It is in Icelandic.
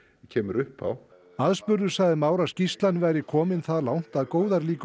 kemur upp á aðspurður sagði Már að skýrslan væri komin það langt að góðar líkur